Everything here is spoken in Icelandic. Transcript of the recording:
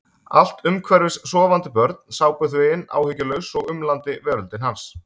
Allt um hverfis sofandi börn, sápuþvegin, áhyggjulaus og umlandi veröldin hans.